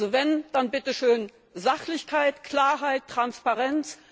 Also wenn, dann bitteschön Sachlichkeit, Klarheit, Transparenz!